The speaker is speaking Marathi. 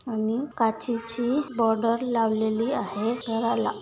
आणि काचेची बॉर्डर लावलेली आहे घराला.